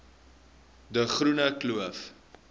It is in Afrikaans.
de groene kloof